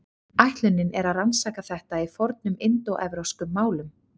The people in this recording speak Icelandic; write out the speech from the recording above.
Ætlunin er að rannsaka þetta í fornum indóevrópskum málum.